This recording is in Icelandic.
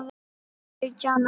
Sautján ára.